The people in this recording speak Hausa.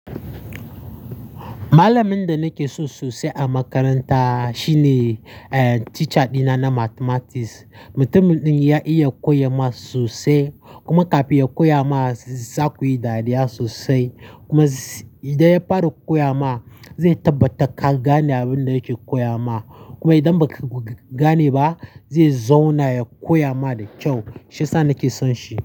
Malamin da nake so sosai a makaranta shine, ehn, teacher dina na mathematics. Mutumin ɗin ya iya koya math sosai, kuma kafin ya koya ma za ku yi dariya sosai. Kuma idan ya fara koya ma zai tabbatar ka gane abin da yake koya ma. Kuma idan ba ka gane ba zai zauna ya koya ma da kyau. Shiya sa nake son shi.